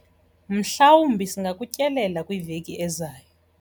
Mhlawumbi singakutyelela kwiveki ezayo.